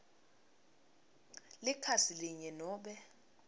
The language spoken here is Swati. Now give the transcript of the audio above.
likhasi linye nobe